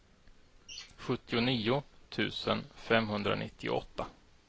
sjuttionio tusen femhundranittioåtta